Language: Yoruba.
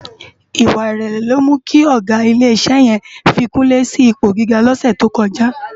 Iwá irèlè ló mú ki ògá ilé isè yèn fi kunle si ipó gigá lòsè tókòjá